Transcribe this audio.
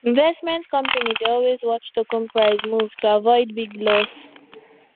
investment company dey always watch token price move to avoid big loss